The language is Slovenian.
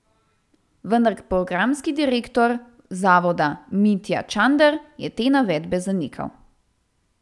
Vendar programski direktor zavoda Mitja Čander je te navedbe zanikal.